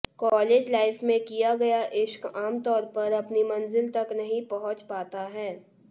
college life में किया गया इश्क आमतौर पर अपनी मंजिल तक नहीं पहुंच पाता है